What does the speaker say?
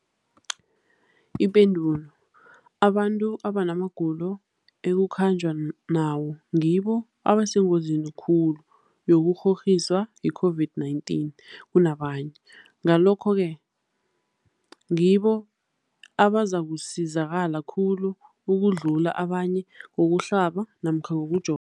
Ipendul, abantu abanamagulo ekukhanjwa nawo ngibo abasengozini khulu yokukghokghiswa yi-COVID-19 kunabanye, Ngalokhu-ke ngibo abazakusizakala khulu ukudlula abanye ngokuhlaba namkha ngokujova.